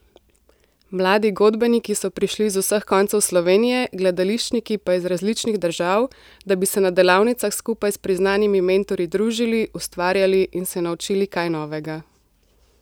Mladi godbeniki so prišli iz vseh koncev Slovenije, gledališčniki pa iz različnih držav, da bi se na delavnicah skupaj s priznanimi mentorji družili, ustvarjali in se naučili kaj novega.